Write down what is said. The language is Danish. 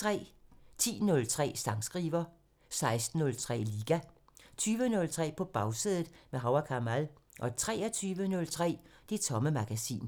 10:03: Sangskriver 16:03: Liga 20:03: På Bagsædet – med Hav & Kamal 23:03: Det Tomme Magasin